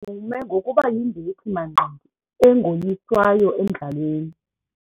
Udume ngokuba yimbethi-manqindi engoyiswayo emdlalweni.